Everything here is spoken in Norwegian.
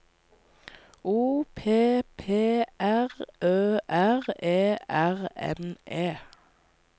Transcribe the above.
O P P R Ø R E R N E